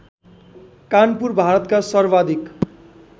कानपुर भारतका सर्वाधिक